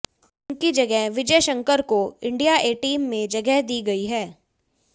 उनकी जगह विजय शंकर को इंडिया ए टीम में जगह दी गई है